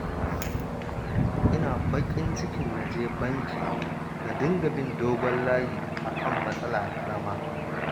Ina baƙin cikin na je banki na dinga bin dogon layi a kan matsala ƙarama